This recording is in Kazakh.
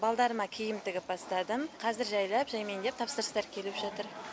балдарыма киім тігіп бастадым қазір жайлап жәймеңдеп тапсырыстар келіп жатыр